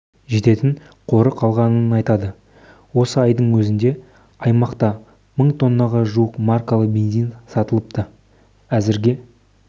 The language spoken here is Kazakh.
жететін қоры қалғанын айтады осы айдың өзінде аймақта мың тоннаға жуық маркалы бензин сатылыпты әзірге